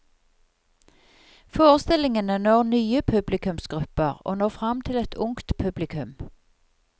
Forestillingene når nye publikumsgrupper, og når fram til et ungt publikum.